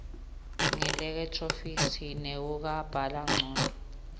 ngeelekhthronikhi nekubhanga ngco